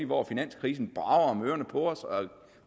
hvor finanskrisen brager om ørerne på os og